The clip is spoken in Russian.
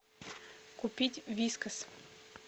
купить вискас